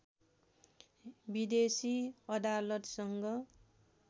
विदेशी अदालतसँग